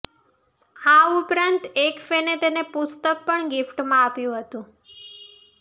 આ ઉપરાંત એક ફેને તેને પુસ્તક પણ ગિફ્ટમાં આપ્યુ હતું